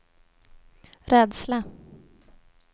rädsla